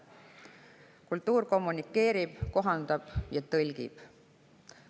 Kultuur kommunikeerib, kohandab ja tõlgib.